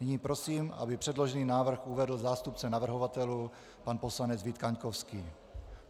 Nyní prosím, aby předložený návrh uvedl zástupce navrhovatelů pan poslanec Vít Kaňkovský.